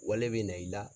Wale bɛ na i la